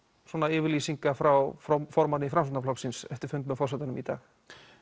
yfirlýsinga frá frá formanni Framsóknarflokksins eftir fundinn hjá forsetanum í dag